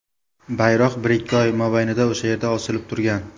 Bayroq bir-ikki oy mobaynida o‘sha yerda osilib turgan.